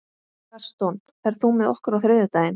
Gaston, ferð þú með okkur á þriðjudaginn?